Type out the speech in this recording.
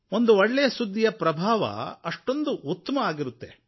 ಒಂದು ಒಳ್ಳೆಯ ಸುದ್ದಿಯ ಪ್ರಭಾವ ಅಷ್ಟೊಂದು ಉತ್ತಮವಾಗಿರುತ್ತದೆ